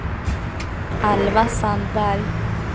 Alva Sandberg